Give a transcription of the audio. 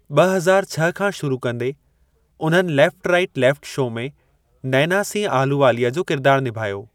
ॿ हज़ार छह खां शुरू कंदे, उन्हनि लेफ़्ट राइट लेफ़्ट शो में नैना सिंह अहलूवालिया जो किरदार निभायो।